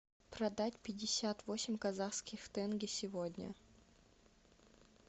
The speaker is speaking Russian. продать пятьдесят восемь казахских тенге сегодня